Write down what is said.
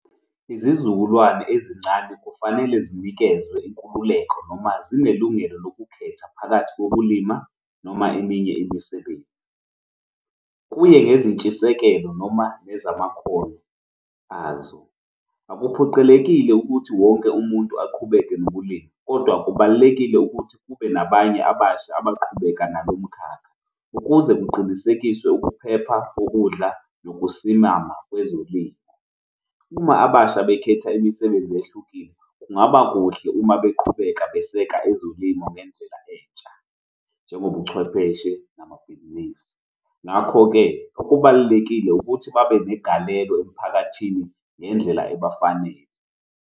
Izizukulwane ezincane kufanele zinikezwe inkululeko noma zinelungelo lokukhetha phakathi kokulima noma eminye imisebenzi, kuye ngezintshisekelo noma nezamakhono azo. Akuphoqelekile ukuthi wonke umuntu aqhubeke nokulima, kodwa kubalulekile ukuthi kube nabanye abasha abaqhubeka nalomkhakha ukuze kuqinisekiswe ukuphepha kokudla nokusimama kwezolimo. Uma abasha bekhetha imisebenzi ehlukile kungaba kuhle uma beqhubeka beseka ezolimo ngendlela entsha njengob'uchwepheshe namabhizinisi, ngakho-ke kubalulekile ukuthi babe negalelo emphakathini ngendlela ebafanele.